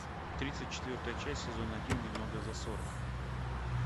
тридцать четвертая часть сезон один немного за сорок